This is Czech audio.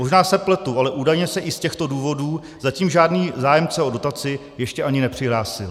Možná se pletu, ale údajně se i z těchto důvodů zatím žádný zájemce o dotaci ještě ani nepřihlásil.